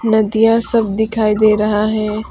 नदियाँ सब दिखाई दे रहा है।